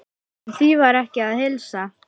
En því var ekki að heilsa.